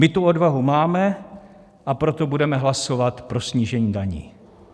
My tu odvahu máme, a proto budeme hlasovat pro snížení daní.